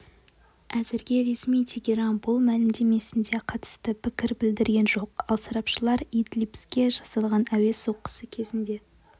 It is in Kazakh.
әзірге ресми тегеран бұл мәлімдемесіне қатысты пікір білдірген жоқ ал сарапшылар идлибке жасалған әуе соққысы кезінде